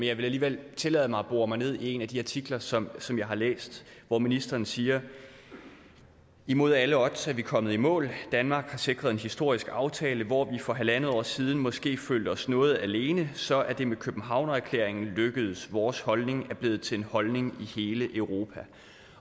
jeg vil alligevel tillade mig at bore mig ned i en af de artikler som som jeg har læst hvor ministeren siger imod alle odds er vi kommet i mål danmark har sikret en historisk aftale hvor vi for halvandet år siden måske følte os noget alene så er det med københavner erklæringen lykkedes vores holdning er blevet til en holdning i hele europa